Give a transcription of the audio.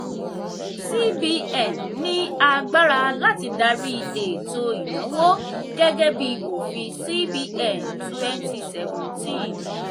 cbn ní agbára láti dárí ètò ìnáwó gẹ́gẹ́ bí òfin cbn twenty seventeen.